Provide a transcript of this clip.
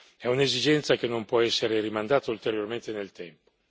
È un'esigenza che non può essere rimandata ulteriormente nel tempo.